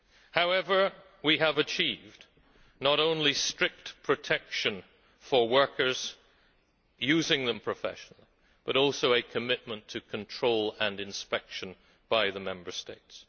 use. However, we have achieved not only strict protection for workers using them professionally, but also a commitment to control and inspection by the Member States.